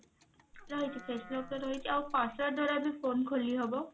face lock ଟା ରହିଛି ଆଉ password ଦ୍ଵାରା ବି phone ଖୋଲିହବ